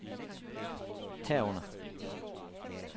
herunder